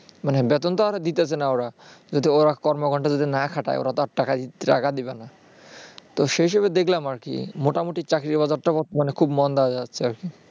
মানে বেতন তো আর দিতাছে না ওরা কিন্তু ওরা কর্ম ঘণ্টা যদি না খাটায় ওরা তার টাকা দিবে না তো সে হিসাবে দেখলাম আরকি মোটামুটি চাকরির বাজারটা মানে খুব মন্দা যাচ্ছে আরকি